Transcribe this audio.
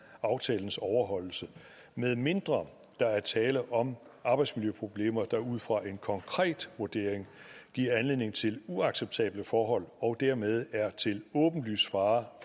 aftalens overholdelse medmindre der er tale om arbejdsmiljøproblemer der ud fra en konkret vurdering giver anledning til uacceptable forhold og dermed er til åbenlys fare